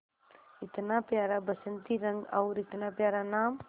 इतना प्यारा बसंती रंग और इतना प्यारा नाम